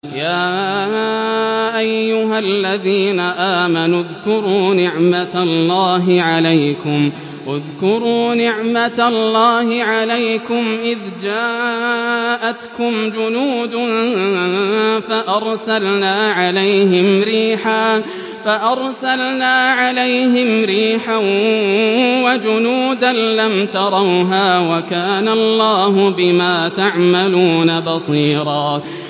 يَا أَيُّهَا الَّذِينَ آمَنُوا اذْكُرُوا نِعْمَةَ اللَّهِ عَلَيْكُمْ إِذْ جَاءَتْكُمْ جُنُودٌ فَأَرْسَلْنَا عَلَيْهِمْ رِيحًا وَجُنُودًا لَّمْ تَرَوْهَا ۚ وَكَانَ اللَّهُ بِمَا تَعْمَلُونَ بَصِيرًا